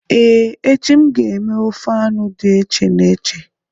Ee, echi m ga-eme ofe anu did eche n'eche